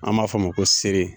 An m'a fɔ a ma ko seere